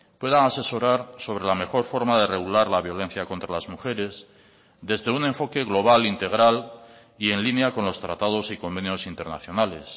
puedan asesorar sobre la mejor forma de regular la violencia contra las mujeres desde un enfoque global integral y en línea con los tratados y convenios internacionales